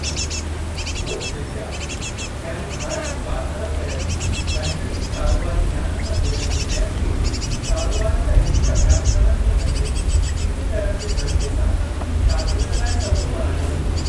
लोक विद्या' यानी भारत में वाधारो कयल बहितरीन कारोबारी ज्ञान सां जुड़ियल विषयनि खे कारोबारी तइलीमी अभ्यासक्रमनि में ॻंढे हिक करण जे ज़रिए सां शागिर्दनि लाइ सवलो बणायो वेंदो।